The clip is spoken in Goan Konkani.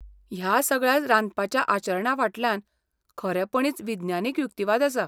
ह्या सगळ्या रांदपाच्या आचरणाफाटल्यान खरेपणींच विज्ञानीक युक्तिवाद आसा.